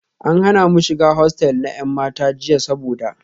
An hana mu shiga hostel na 'yan mata jiya saboda